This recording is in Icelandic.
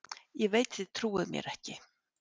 Ég veit þið trúið mér ekki.